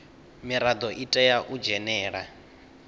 mirado i tea u dzhenela